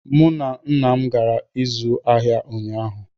Mụ na nna m gara ịzụ ahịa ụnyaahụ